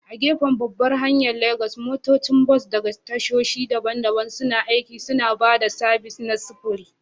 A gefen babbar hanyar Legas, motocin bas daga tashoshi daban-daban suna aiki, suna ba da sabis na sufuri.